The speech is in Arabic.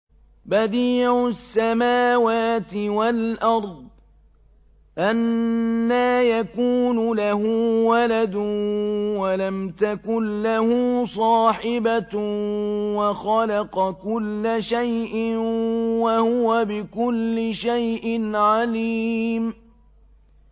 بَدِيعُ السَّمَاوَاتِ وَالْأَرْضِ ۖ أَنَّىٰ يَكُونُ لَهُ وَلَدٌ وَلَمْ تَكُن لَّهُ صَاحِبَةٌ ۖ وَخَلَقَ كُلَّ شَيْءٍ ۖ وَهُوَ بِكُلِّ شَيْءٍ عَلِيمٌ